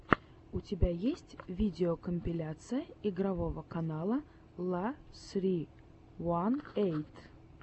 у тебя есть видеокомпиляция игрового канала ла ссри уан эйт